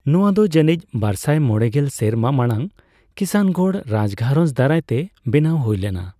ᱱᱚᱧᱟ ᱫᱚ ᱡᱟᱹᱱᱤᱡᱽ ᱵᱟᱨᱥᱟᱭ ᱢᱚᱲᱮᱜᱮᱞ ᱥᱮᱨᱢᱟ ᱢᱟᱲᱟᱝ ᱠᱤᱥᱟᱱᱜᱚᱲ ᱨᱟᱡᱽ ᱜᱷᱟᱨᱚᱸᱡᱽ ᱫᱟᱨᱟᱭᱛᱮ ᱵᱮᱱᱟᱣ ᱦᱩᱭ ᱞᱮᱱᱟ ᱾